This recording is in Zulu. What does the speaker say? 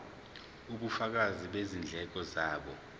ubufakazi bezindleko zabo